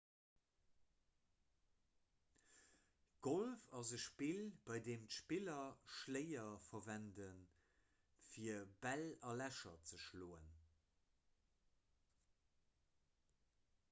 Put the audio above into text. golf ass e spill bei deem d'spiller schléier verwenden fir bäll a lächer ze schloen